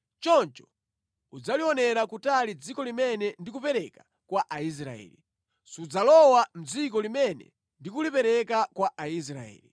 Choncho udzalionera kutali dziko limene ndikupereka kwa Aisraeli. Sudzalowa mʼdziko limene ndi kulipereka kwa Aisraeli.”